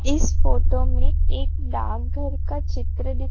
इस फोटो में एक डाकघर का चित्र दी--